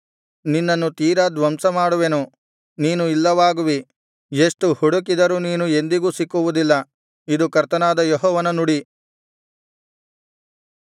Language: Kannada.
ನಿನ್ನನ್ನು ತೀರಾ ಧ್ವಂಸಮಾಡುವೆನು ನೀನು ಇಲ್ಲವಾಗುವಿ ಎಷ್ಟು ಹುಡುಕಿದರೂ ನೀನು ಎಂದಿಗೂ ಸಿಕ್ಕುವುದಿಲ್ಲ ಇದು ಕರ್ತನಾದ ಯೆಹೋವನ ನುಡಿ